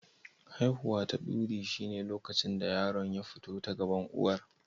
Aifuwa ta duri shine lokacin da yaron ya fito ta gaban uwar.